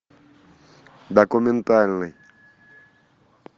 документальный